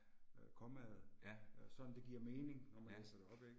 Ja. Ja